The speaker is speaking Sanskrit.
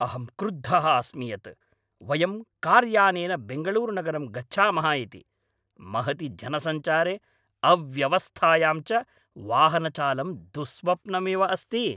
अहं क्रुद्धः अस्मि यत् वयं कार्यानेन बेङ्गळूरुनगरं गच्छामः इति, महति जनसञ्चारे, अव्यवस्थायां च वाहनचालनं दुःस्वप्नमिव अस्ति!